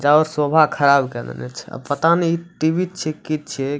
जाव शोभा खराब कर देने छै आब इ टी.वी. छीये की छीये।